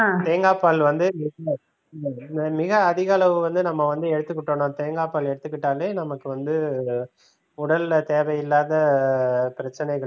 தேங்காய் பால் வந்து மிக அதிக அளவு வந்து நம்ம வந்து எடுத்துக்கிட்டோம்னா தேங்காய் பால் எடுத்துகிட்டாலே நமக்கு வந்து உடல்ல தேவையில்லாத பிரச்சினைகள்